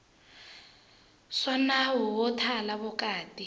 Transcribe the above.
swa nawu wo thala vukati